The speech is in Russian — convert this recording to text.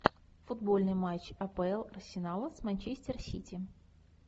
футбольный матч апл арсенала с манчестер сити